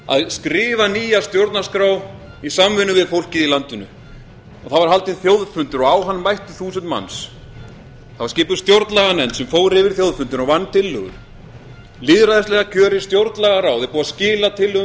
að skrifa nýja stjórnarskrá í samvinnu við fólkið í landinu það var haldinn þjóðfundur og á hann mættu þúsund manns það var skipuð stjórnlaganefnd sem fór yfir þjóðfundinn og vann tillögur lýðræðislega kjörið stjórnmálaráð er búið að skila tillögum